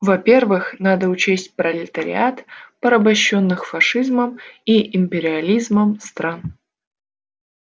во первых надо учесть пролетариат порабощённых фашизмом и империализмом стран